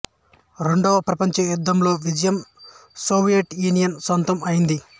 రెండవ ప్రపంచ యుద్ధం లో విజయం సోవియట్ యూనియన్ సొంతం అయ్యింది